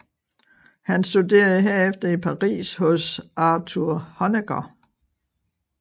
Han studerede herefter i Paris hos Arthur Honegger